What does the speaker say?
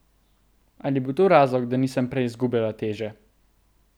Ali je bil to razlog, da nisem prej izgubljala teže?